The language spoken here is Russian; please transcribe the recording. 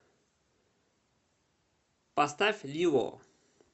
поставь лил о